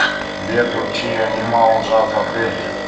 сбер включи энимал джаз апрель